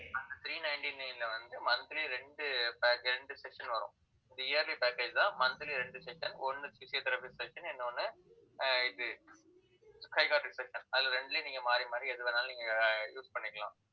அந்த three ninety-nine ல வந்து, monthly ரெண்டு ரெண்டு session வரும். இது yearly package தான். monthly ரெண்டு session ஒண்ணு physiotherapy session இன்னொன்னு ஆஹ் இது psychiatrist session அதுல இரண்டிலேயும், நீங்க மாறி மாறி எது வேணாலும் நீங்க ஆஹ் use பண்ணிக்கலாம்